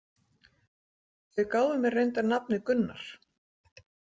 Þau gáfu mér reyndar nafnið Gunnar